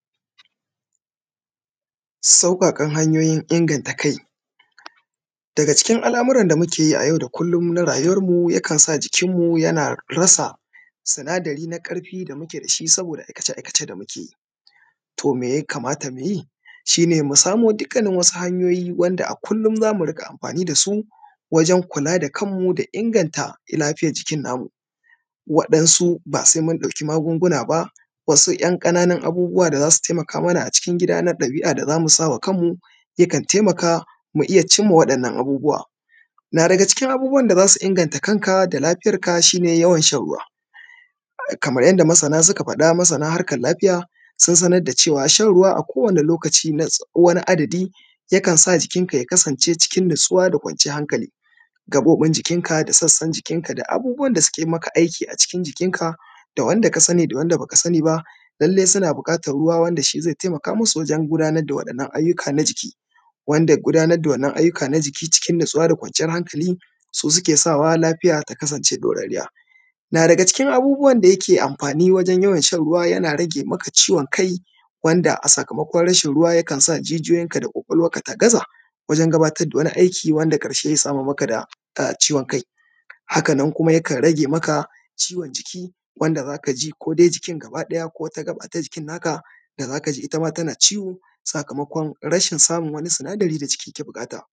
Sauƙaƙan hanyoyin inganta kai. Daga cikin al’amuran da muke yi yau da kullun na rayuwarmu yakan sa jikinmu yana rasa, sinadari na ƙarfi da muke da shi saboda aikace-aikacen da muke yi. To mai ya kamata mu yi? Shi ne mu samo dukkanin wani hanyoyi wanda a kullun za mu riƙa amfani da su, wajen kula da kanmu da inganta lafiyan jikin namu. waɗansu ba sai mun ɗauki magunguna ba. Wasu ‘yan ƙananun abubuwa da za su taimaka mana a cikin gida na ɗabi’a da za mu sa ma kanmu, yakan taimaka mu iya cim ma waɗannan abubuwan. Na daga cikin abubuwan da za su inganta kanka da lafiyarka shi ne, yawan shan ruwa, kamar yanda masana suka faɗa, masana harkar lafiya, sun sanar da cewa shan ruwa a kowane lokaci na wani adadi, yakan sa jikinka ya kasance cikin natsuwa da kwanciyan hankali Gaɓoɓin jikinka da sassan jikinka da abubuwan da suke ma aiki a cikin jikinka, da wanda ka sani da wanda ba ka sani ba, lallai suna buƙatar ruwa wanda shi zai taimaka masu wurin gudanar da waɗannan ayyuka na jiki, wanda gudanar da waɗannan ayyuka na jiki cikin natsuwa da kwanciyar hankali, su suke sawa lafiya ta kasance ɗorarriya. Na daga cikin abubuwan da yake amfani wajen yawan shan ruwa, yana rage maka ciwon kai, wanda a sakamakon rashin ruwa yakan sa jijiyoyinka da ƙwaƙwalwarka ta gaza, wajen gabatar da wani aiki wanda ƙarshe ya samar maka da ciwon kai. Haka nan kuma yakan ɗan rage maka ciwon jiki wanda za ka ji ko dai jikin gabadaya ko wata gaba ta jikin naka da za ka ji ita ma tana ciwo sakamakon rashin samun wannan sinadari da jiki ke buƙata.